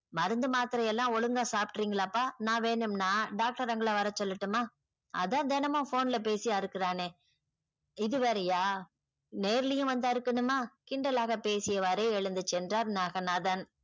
மருந்து மாத்திரை எல்லாம் ஒழுங்கா சாப்பிடுறீங்களா அப்பா நான் வேணும்னா doctor uncle ல வரச் சொல்லட்டுமா அதான் தினமும் phone ல பேசி அருக்குரானே இதுவேறையா நேர்லையும் வந்து அருக்கனுமா கிண்டலாகப் பேசிய வாரே எழுந்து சென்றார் நாகநாதன்.